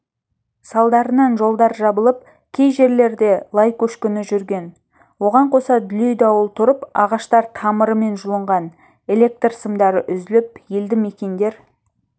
салдарынан жолдар жабылып кей жерлерде лай көшкіні жүрген оған қоса дүлей дауыл тұрып ағаштар тамырымен жұлынған электр сымдары үзіліп елді мекендер